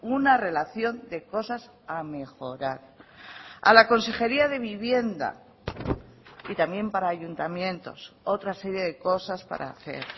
una relación de cosas a mejorar a la consejería de vivienda y también para ayuntamientos otra serie de cosas para hacer